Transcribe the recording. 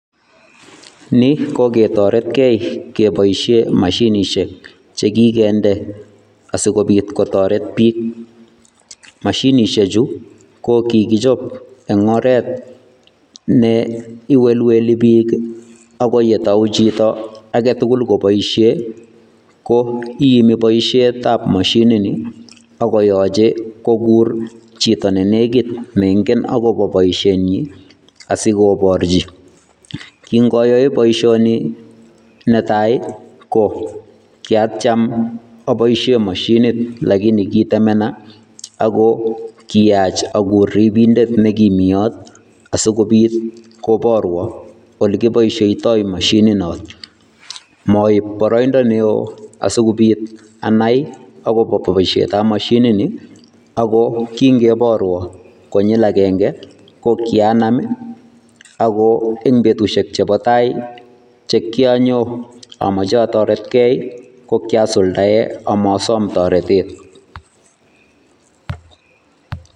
Ni ko ketoretkei keboishe mashinishek chekikende asikobit kotoret biik. Mashinishechu ko kikichop eng oret neiwelwelebiik ako yetou chito aketukul koboishe ko iimi boishetabb mashinini akoyoche kokur chito nenekit neinken akopo boishenyi asikoborchi. Kinkayoe boishoni netai ko kiatyem apoishe mashinit lakini kitemena ako kiyach akur ripindet nekimi yot asikobit koborwo olekiboisheitoi mashininot. Moib boroindo neo asikobit anai akopo boishetap mashinini, ako kinkeborwo konyil akenke ko kianam ako eng betushek chepo tai che kianyo amoche ataretkei, ko kiasuldae amaasom toretet.